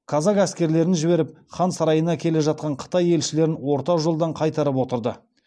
казак әскерлерін жіберіп хан сарайына келе жатқан қытай елшілерін орта жолдан қайтарып отырды